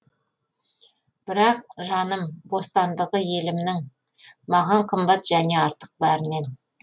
бірақ жаным бостандығы елімнің маған қымбат және артық бәрінен